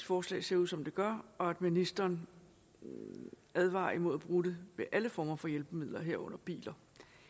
forslag ser ud som det gør og at ministeren advarer imod at bruge det ved alle former for hjælpemidler herunder biler